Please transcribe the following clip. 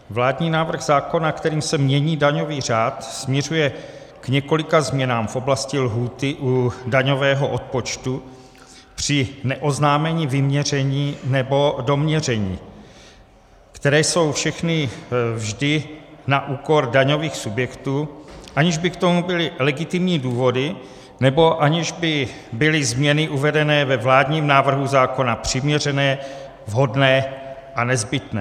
Vládní návrh zákona, kterým se mění daňový řád, směřuje k několika změnám v oblasti lhůty u daňového odpočtu při neoznámení vyměření nebo doměření, které jsou všechny vždy na úkor daňových subjektů, aniž by k tomu byly legitimní důvody nebo aniž by byly změny uvedené ve vládním návrhu zákona přiměřené, vhodné a nezbytné.